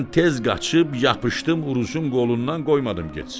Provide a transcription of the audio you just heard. Mən tez qaçıb yapışdım Uruzun qolundan qoymadım getsin.